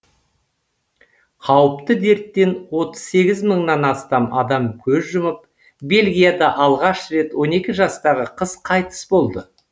қауіпті дерттен отыз сегіз мыңнан астам адам көз жұмып бельгияда алғаш рет он екі жастағы қыз қайтыс болды